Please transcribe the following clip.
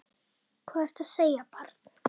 Hvað ertu að segja, barn?